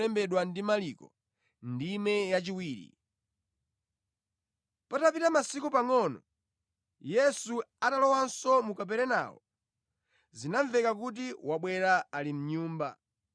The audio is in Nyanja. Patapita masiku pangʼono, Yesu atalowanso mu Kaperenawo, zinamveka kuti wabwera ali mʼnyumba.